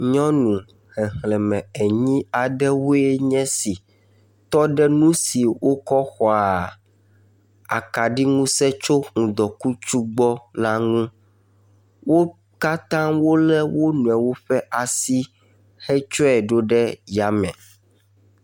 Nyɔnu xexlẽme enyi aɖewoe nye si tɔ ɖe nu si wokɔ xɔaa akaɖiŋusẽ tso ŋdɔkutsu gbɔ la ŋu. Wo katã wolé wo nɔewo ƒe asi hetsɔe ɖo ɖe yame.